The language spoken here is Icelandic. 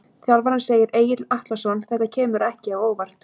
Þjálfarinn segir- Egill Atlason Þetta kemur ekki á óvart.